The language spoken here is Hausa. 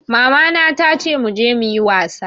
Mama na tace muje muyi wasa